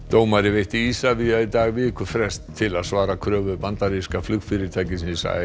dómari veitti Isavia í dag vikufrest til að svara kröfu bandaríska flugfyrirtækisins